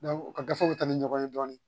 u ka gafew bɛ taa ni ɲɔgɔn ye dɔɔnin